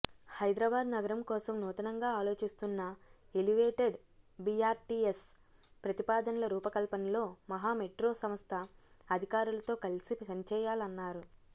హైదరాబాద్ నగరం కోసం నూతనంగా ఆలోచిస్తున్న ఎలివేటేడ్ బిఆర్టిఎస్ ప్రతిపాదనల రూపకల్పనలో మహమెట్రో సంస్థ అధికారులతో కలిసి పనిచేయాలన్నారు